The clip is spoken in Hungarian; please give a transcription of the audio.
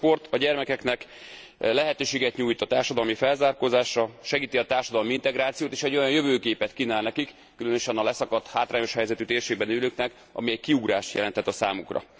Hiszen a sport a gyermekeknek lehetőséget nyújt a társadalmi felzárkózásra, segíti a társadalmi integrációt, és egy olyan jövőképet kínál nekik különösen a leszakadt, hátrányos helyzetű térségben élőknek amely kiugrást jelenthet a számukra.